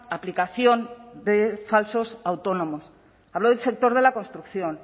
aplicación de falsos autónomos hablo del sector de la construcción